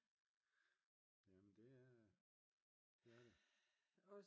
jamen det er det